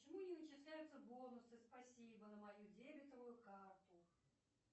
почему не начисляются бонусы спасибо на мою дебетовую карту